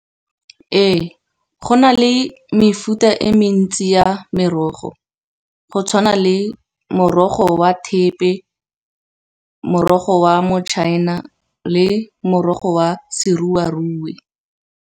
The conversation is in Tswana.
Ee, go na le mefuta e mentsi ya merogo, go tshwana le morogo wa thepe morogo wa mochina le morogo wa seruarue.